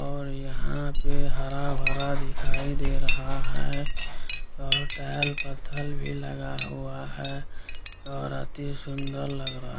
और यहाँ पे हरा-भरा दिखाई दे रहा है और टाइल्स पत्थर भी लगा हुआ है और अति सुंदर लग रहा --